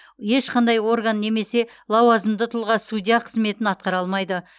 ешқандай орган немесе лауазымды тұлға судья қызметін атқара алмайды